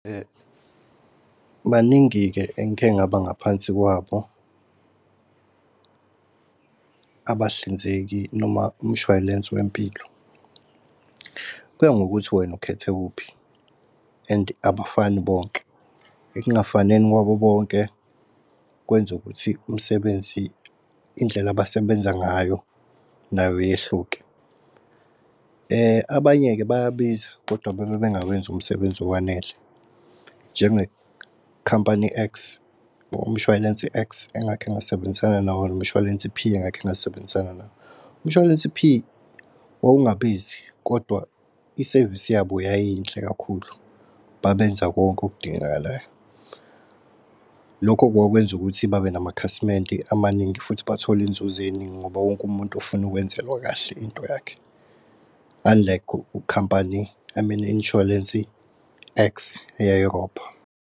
Baningi-ke eng'khe ngaba ngaphansi kwabo abahlinzeki noma umshwalense wempilo kuya ngokuthi wena ukhethe muphi and abafani bonke. Ekungafaneni kwabo bonke kwenza ukuthi umsebenzi indlela abasebenza ngayo nayo yehluke. Abanye-ke bayabiza kodwa bebe bengawenzi umsebenzi owanele njengekhampani X. Umshwalense X engakhe ngasebenzisana nawo umshwalense P engakhe ngasebenzisana nawo. Umshwalense P wawungabizi kodwa isevisi yabo yayiyinhle kakhulu, babenza konke okudingekalayo. Lokho kwakwenza ukuthi babe namakhasimende amaningi futhi bathole inzuzeningi. Ngoba wonke umuntu ufuna ukwenzelwa kahle into yakhe. Unlike u-company I mean i-insurance X eyayirobha.